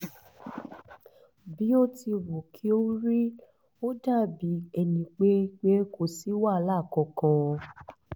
bí ó ti wù kí ó rí ó dàbí ẹni pé pé kò sí wàhálà kankan